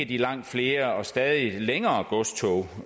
de langt flere og stadig længere godstog